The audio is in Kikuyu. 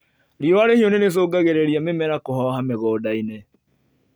Riua rĩhiũ nĩricungagirĩria mĩmera kũhoha mĩgundainĩ.